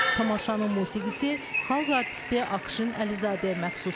Tamaşanın musiqisi xalq artisti Akşin Əlizadəyə məxsusdur.